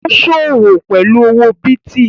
Ó sọ́wọ́ pẹ̀lú owó bìtì